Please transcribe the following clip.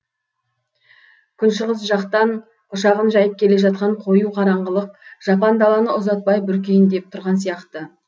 күншығыс жақтан құшағын жайып келе жатқан қою қараңғылық жапан даланы ұзатпай бүркейін деп тұрған сияқты